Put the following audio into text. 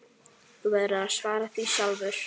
Þú verður að svara því sjálfur.